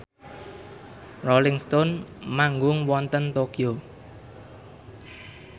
Rolling Stone manggung wonten Tokyo